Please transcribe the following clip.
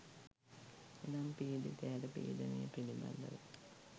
එනම් පීඩිතයාට පීඩනය පිළිබඳව